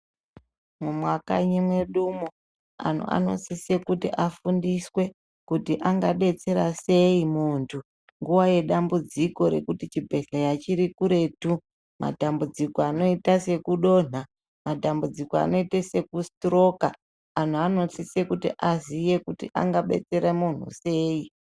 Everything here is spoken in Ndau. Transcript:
Mumwakanyi mwedumwo anhu anosise kuti afundiswe kuti angadetsera sei muntu nguva yedambudziko rekuti chibhehleya chiri kuretu. Matambudziko anoita sekudonha, matambudziko anoita sekusitiroka. Anhu anosise kuti aziye kuti angabetsere munhu sei.